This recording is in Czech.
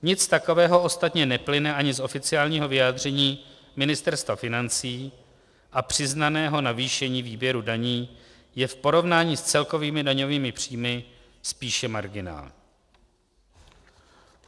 Nic takového ostatně neplyne ani z oficiálního vyjádření Ministerstva financí a přiznaného navýšení výběru daní je v porovnání s celkovými daňovými příjmy spíše marginální.